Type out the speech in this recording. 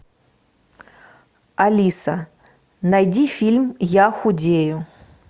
алиса найди фильм я худею